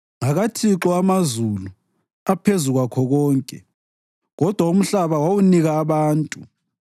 NgakaThixo amazulu aphezu kwakho konke, kodwa umhlaba wawunika abantu.